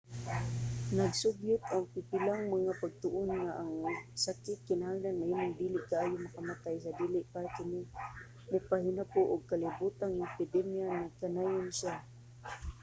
nagsugyot ang pipilang mga pagtuon nga ang sakit kinahanglan mahimong dili kaayo makamatay sa dili pa kini mopahinabo og kalibotang epidemya nagkanayon siya